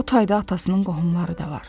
O tayda atasının qohumları da var.